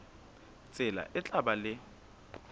tsela e tla ba le